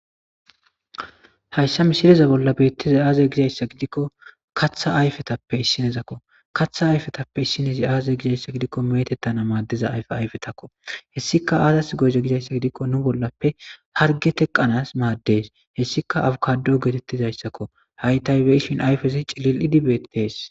Hayssa misiliza bolla beettiza aazay gizayssa gidikko katha ayfetappe issinezakko katha ayfetappe issinezi aazay gizayssa gidikko metettana maaddiza ayfe ayfetakko hessika aazas goyze gizayssa gidikko nu bollappe harge teqanas maaddes hessika awukado geetettizayssakko haytaybe ishin ayfezi cilil idibetees.